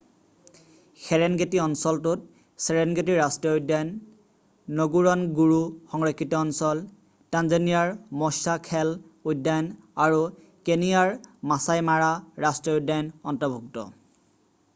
Serengeti অঞ্চলটোত Serengeti ৰাষ্ট্ৰীয় উদ্যান নগোৰণগোৰো সংৰক্ষিত অঞ্চল টাঞ্জনিয়াৰ মস্বা খেল উদ্যান আৰু কেনিয়াৰ মাছাই মাৰা ৰাষ্ট্ৰীয় উদ্যান অন্তৰ্ভুক্ত